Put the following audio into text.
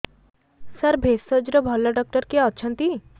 ସାର ଭେଷଜର ଭଲ ଡକ୍ଟର କିଏ ଅଛନ୍ତି